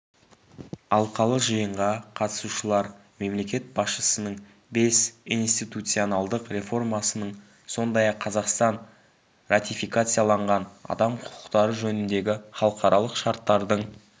алқалы жиынға қатысушылар мемлекет басшысының бес институционалдық реформасының сондай-ақ қазақстан ратификациялаған адам құқықтары жөніндегі халықаралық шарттардың